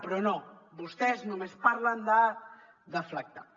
però no vostès només parlen de deflactar